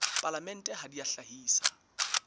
palamente ha di a hlahisa